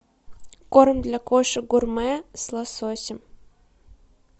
корм для кошек гурме с лососем